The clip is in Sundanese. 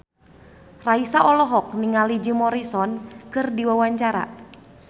Raisa olohok ningali Jim Morrison keur diwawancara